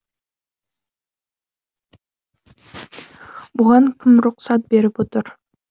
бұған кім рұқсат беріп отыр